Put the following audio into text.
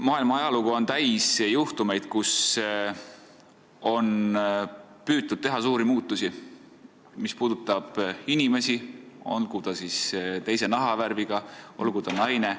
Maailma ajalugu on täis juhtumeid, kui on püütud teha suuri muutusi, mis puudutavad inimesi, olgu nad teise nahavärviga või olgu nad naised.